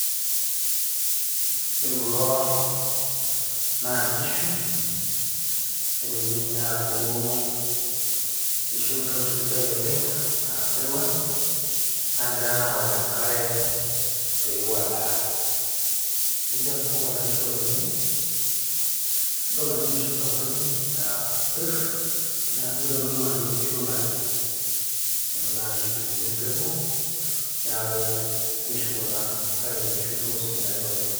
ore kulo naa inkishu nitoki dii ninye aaku kisho empeku sidai oleng aa saiwal nagira naa awok enkare pepuo adaa tenijo asipu kuna kishu oleng nidol ajo inkishu sapukin napirr neaku kitodolu ajo inkishu olari naa nkishu sii empeku niaku inkishu kuna kake nkishu do sidain oleng.